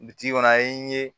Bi kɔnɔ an ye